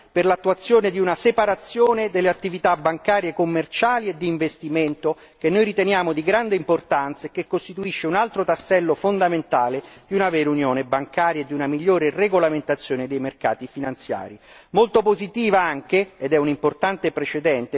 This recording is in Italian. Tale differenziazione potrà costituire anche la base per l'attuazione di una separazione delle attività bancarie commerciali e di investimento che noi riteniamo di grande importanza e che costituisce un altro tassello fondamentale di una vera unione bancaria ed una migliore regolamentazione dei mercati finanziari.